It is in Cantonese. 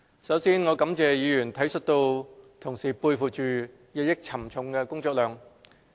首先，我感謝議員體恤同事背負着日益沉重的工作量。